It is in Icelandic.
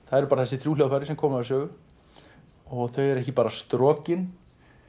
það eru bara þessi þrjú hljóðfæri sem koma við sögu og þau eru ekki bara strokin